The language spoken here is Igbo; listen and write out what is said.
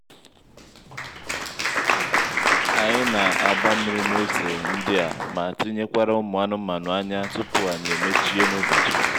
anyị na-agba mmiri n'ose ndị a ma tinyekwara ụmụ anụmanụ ányá tupu anyị emechie n'ụbọchị